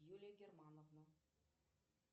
юлия германовна